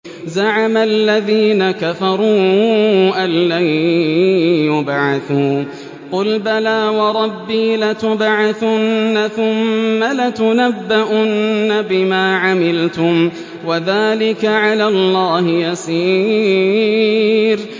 زَعَمَ الَّذِينَ كَفَرُوا أَن لَّن يُبْعَثُوا ۚ قُلْ بَلَىٰ وَرَبِّي لَتُبْعَثُنَّ ثُمَّ لَتُنَبَّؤُنَّ بِمَا عَمِلْتُمْ ۚ وَذَٰلِكَ عَلَى اللَّهِ يَسِيرٌ